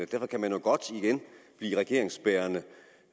blive regeringsbærende og